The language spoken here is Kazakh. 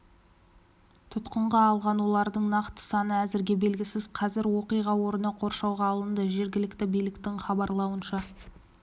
тұтқынға алған олардың нақты саны әзірге белгісіз қазір оқиға орны қоршауға алынды жергілікті биліктің хабарлауынша